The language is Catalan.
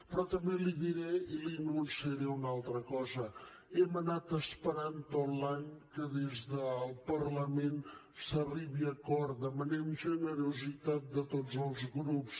però li diré i li anunciaré una altra cosa hem anat esperant tot l’any que des del parlament s’arribi a acord demanem generositat de tots els grups